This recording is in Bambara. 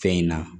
Fɛn in na